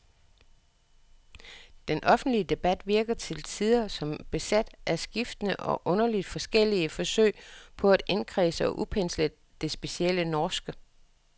Den offentlige debat virker til tider som besat af skiftende og underligt forskellige forsøg på at indkredse og udpensle det specielle norske.